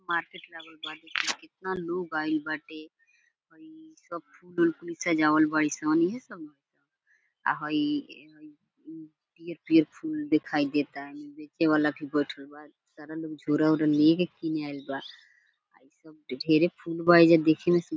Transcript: market लागल बा कितना लोग आइल बाटे और इ सब हई पियर पियर फूल दिखाई देतानी बेचे वाला भी बैठएल बा सारा लोग झोला उला लेके किने आइल बा इ सब ढेरे फुल बा एजा देखें मे सुंदर --